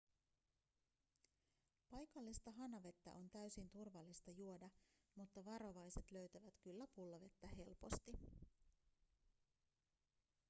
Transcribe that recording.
paikallista hanavettä on täysin turvallista juoda mutta varovaiset löytävät kyllä pullovettä helposti